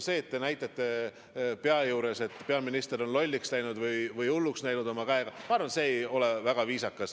See, et te näitate pea juures oma käega, et peaminister on lolliks või hulluks läinud, ei ole väga viisakas.